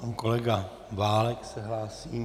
Pan kolega Válek se hlásí.